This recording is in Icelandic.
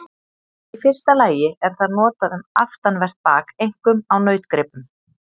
Í fyrsta lagi er það notað um aftanvert bak, einkum á nautgripum.